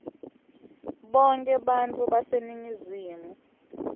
bonkhe bantfu baseningizimu